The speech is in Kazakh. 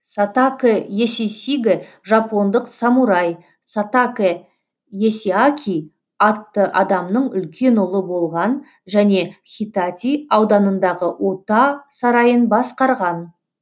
сатакэ есисигэ жапондық самурай сатакэ есиаки атты адамның үлкен ұлы болған және хитати ауданындағы ота сарайын басқарған